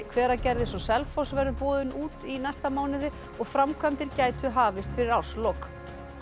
Hveragerðis og Selfoss verður boðin út í næsta mánuði og framkvæmdir gætu hafist fyrir árslok